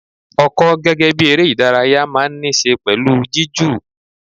Ọkọ gẹ́gẹ́ bí eré ìdárayá máa ń ní ṣe pẹ̀lú jiju.